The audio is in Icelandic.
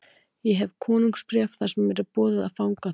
Ég hef konungsbréf þar sem mér er boðið að fanga þá.